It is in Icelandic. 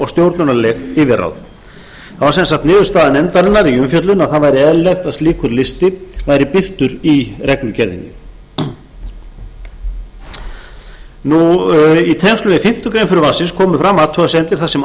stjórnunarleg yfirráð það var sem sagt niðurstaða nefndarinnar í umfjöllun að það væri eðlilegt að slíkur listi væri birtur í reglugerðinni í tengslum við fimmtu grein frumvarpsins komu fram athugasemdir þar sem